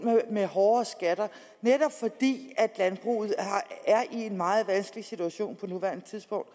med hårde skatter netop fordi landbruget er i en meget vanskelig situation på nuværende tidspunkt